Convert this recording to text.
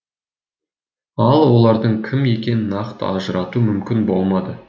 ал олардың кім екенін нақты ажырату мүмкін болмады